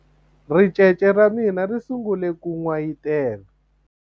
ricece ra mina ri sungule ku n'wayitela